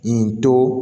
Yen to